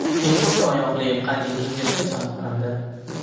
Ellikta oyoqli qadimiy yirtqich aniqlandi.